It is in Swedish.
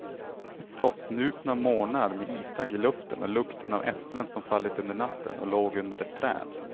Frostnupna morgnar med isdagg i luften och lukten av äpplen som fallit under natten och låg under ett träd.